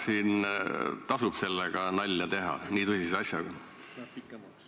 Kas tasub nalja teha nii tõsise asjaga?